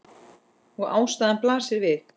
Og ástæðan blasir við.